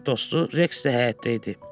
Sadiq dostu Reks də həyətdə idi.